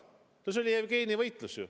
See oli ju Jevgeni võitlus.